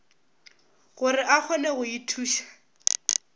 gore a kgone go ithuša